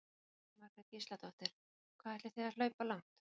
Jóhanna Margrét Gísladóttir: Hvað ætlið þið að hlaupa langt?